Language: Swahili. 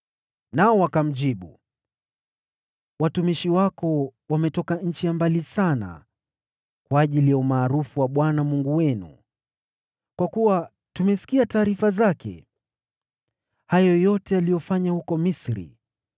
Nao wakamjibu: “Watumishi wako wametoka nchi ya mbali sana kwa ajili ya umaarufu wa Bwana Mungu wenu. Kwa kuwa tumesikia taarifa zake: hayo yote aliyofanya huko Misri,